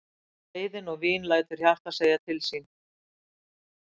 Reiðin og vín lætur hjartað segja til sín.